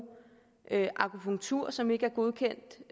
akupunktur som ikke er godkendt